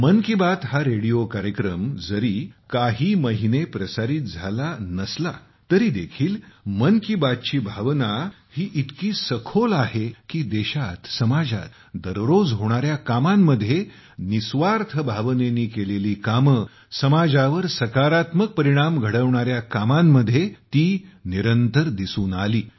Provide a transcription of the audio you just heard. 'मन की बात' हा रेडिओ कार्यक्रम जरी काही महिने प्रसारित झाला नसला तरीदेखील 'मन की बात' ची भावना ही इतकी सखोल आहे की देशात समाजात दररोज होणाऱ्या कामांमध्ये निस्वार्थ भावनेने केलेली कामे समाजावर सकारात्मक परिणाम घडवणाऱ्या कामांमध्ये ती निरंतर दिसून आली